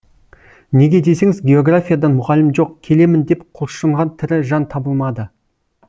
неге десеңіз географиядан мұғалім жоқ келемін деп құлшынған тірі жан табылмады